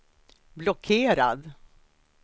blockerad